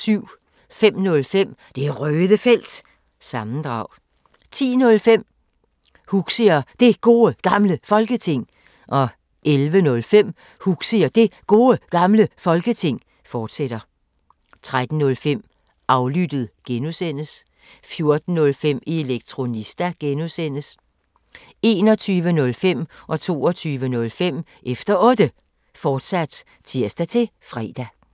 05:05: Det Røde Felt – sammendrag 10:05: Huxi og Det Gode Gamle Folketing 11:05: Huxi og Det Gode Gamle Folketing, fortsat 13:05: Aflyttet (G) 14:05: Elektronista (G) 21:05: Efter Otte, fortsat (tir-fre) 22:05: Efter Otte, fortsat (tir-fre)